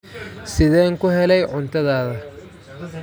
Sideen ku helay cuntadaada?